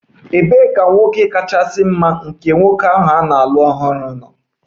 Ebee ka nwoke kachasị mma nke nwoke ahụ na-alụ ọhụrụ nọ?